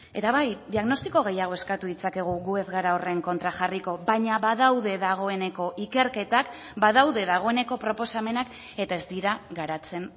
eta bai diagnostiko gehiago eskatu ditzakegu gu ez gara horren kontra jarriko baina badaude dagoeneko ikerketak badaude dagoeneko proposamenak eta ez dira garatzen